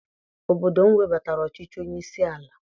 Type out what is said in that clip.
Obodo m webatara ọchịchị onye isi ala.